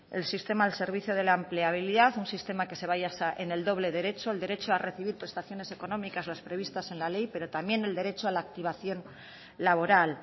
el sistema al servicio de la empleabilidad un sistema que se basa en el doble derecho el derecho a recibir prestaciones económicas las previstas en la ley pero también el derecho a la activación laboral